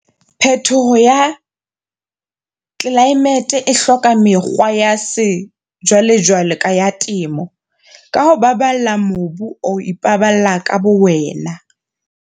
Phetoho ya tlelaemete e hloka mekgwa ya sejwalejwale ya temo. "ka ho baballa mobu o ipabala ka bowena."